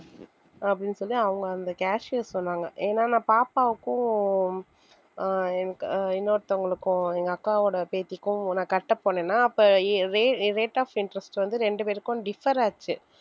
அப்படின்னு சொல்லி அவங்க அந்த cashier சொன்னாங்க ஏன்னா நான் பாப்பாவுக்கும் ஆஹ் எனக்கு இன்னொருத்தவங்களுக்கும் எங்க அக்காவோட பேத்திக்கும் நான் கட்ட போனேன்னா அப்ப rate of interest வந்து ரெண்டு பேருக்கும் differ ஆச்சு